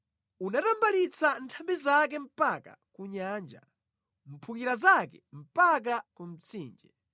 Unatambalitsa nthambi zake mpaka ku nyanja, mphukira zake mpaka ku mtsinje.